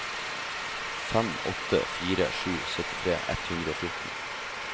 fem åtte fire sju syttitre ett hundre og fjorten